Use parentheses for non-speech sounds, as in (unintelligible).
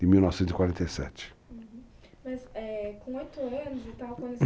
de 1947. Uhum, mas, é, com oito anos e tal, quando (unintelligible)